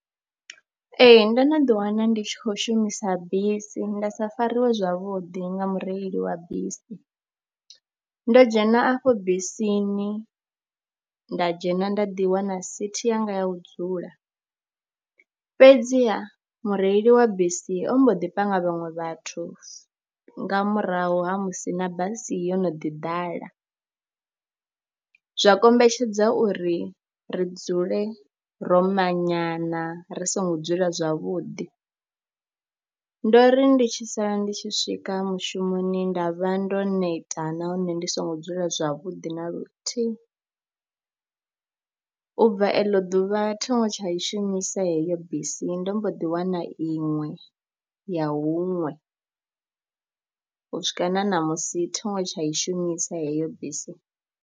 Ee, ndo no ḓiwana ndi tshi khou shumisa bisi nda sa fariwe zwavhudi nga mureili wa bisi. Ndo dzhena afho bisini, nda dzhena nda ḓi wana sithi yanga ya u dzula fhedziha mureili wa bisi ombo ḓi panga vhaṅwe vhathu nga murahu ha musi na basi yo no ḓi ḓala, zwa kombetshedza uri ri dzule ro manyana ri songo dzula zwavhuḓi. Ndo ri ndi tshi sala ndi tshi swika mushumoni nda vha ndo neta nahone ndi songo dzula zwavhuḓi na luthihi, u bva eḽo ḓuvha thi ngo tsha i shumisa heyo bisi ndo mbo ḓi wana iṅwe ya huṅwe, u swika na ṋamusi thi ngo tsha i shumisa heyo bisi.